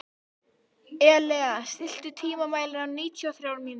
Elea, stilltu tímamælinn á níutíu og þrjár mínútur.